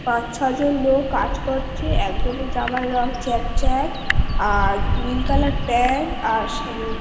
পাঁচ ছয় জন লোক কাজ করছে। একজনের জামার রং চ্যাক চ্যাক । আর নীল কালার প্যান্ট . আর স--